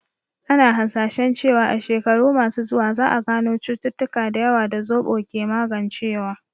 Ana hasashen cewa a shekaru masu zuwa, za a gano cututtuka da yawa da zoɓo ke magancewa